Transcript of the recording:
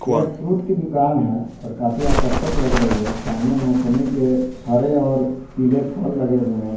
ये एक फ्रूट की दुकान है और काफी आकर्षक लग रही है सामने मोसम्बी के हरे और पीले फल लगे हुए हैं।